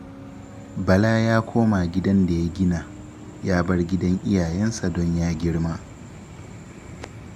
Bala ya koma gidan da ya gina, ya bar gidan iyayensa don ya girma